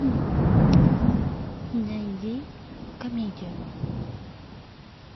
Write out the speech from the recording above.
найди комедию